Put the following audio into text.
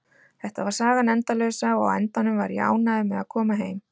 Þetta var sagan endalausa og á endanum var ég ánægður með að koma heim.